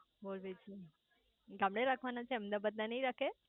બોલ બીજું ગામડે રાખવાના છે અમદાવાદ માં નાઈ રાખે